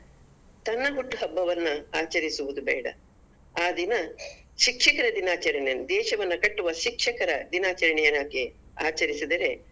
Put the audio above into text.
ತನ್ನ ಹುಟ್ಟು ಹಬ್ಬವನ್ನ ಆಚರಿಸುವುದು ಬೇಡ ಆ ದಿನ ಶಿಕ್ಷಕರ ದಿನಾಚರಣೆ ದೇಶವನ್ನು ಕಟ್ಟುವ ಶಿಕ್ಷಕರ ದಿನಾಚರಣೆ ಹಾಗೆ ಆಚರಿಸಿದರೆ.